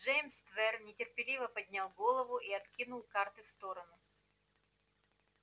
джеймс твер нетерпеливо поднял голову и откинул карты в сторону